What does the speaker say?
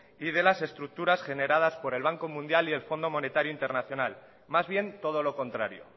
y de las estructuras generadas por el banco mundial y el fondo monetario internacional más bien todo lo contrario